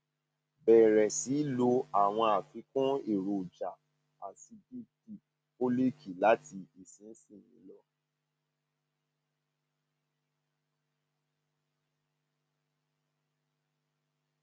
bẹrẹ sí lo àwọn àfikún èròjà aàsìipdip fólííkì láti ìsinsìnyí lọ